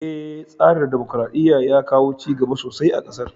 Eh, tsarin dimokuraɗɗiyar ya kawo cigaba sosai a ƙasar.